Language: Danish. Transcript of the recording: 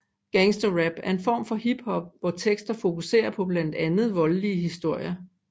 Gangster rap er en form for hiphop hvor tekster fokuserer på blandt andet voldelige historier